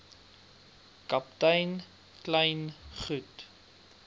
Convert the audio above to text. kaptein kleyn goed